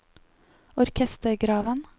orkestergraven